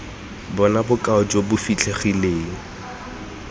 bona bokao jo bo fitlhegileng